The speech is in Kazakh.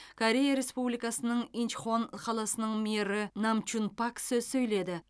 корея республикасының инчхон қаласының мэрі намчун пак сөз сөйледі